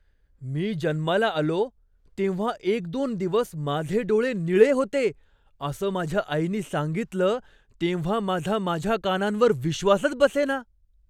मी जन्माला आलो तेव्हा एक दोन दिवस माझे डोळे निळे होते असं माझ्या आईनी सांगितलं तेव्हा माझा माझ्या कानांवर विश्वासच बसेना.